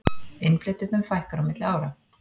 Innflytjendum fækkar á milli ára